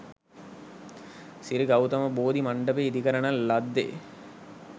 සිරි ගෞතම බෝධි මණ්ඩපය ඉදිකරන ලද්දේ